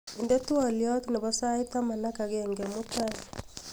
inde twolyot nepo sait taman ak agenge' mutai